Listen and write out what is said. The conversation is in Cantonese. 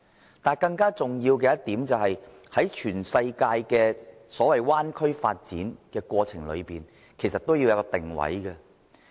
然而，更重要的一點是，在全世界的所謂灣區發展的過程裏，均要有一個定位。